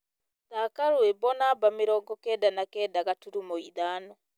thaaka rwĩmbo namba mĩrongo kenda na kenda gaturumo ithano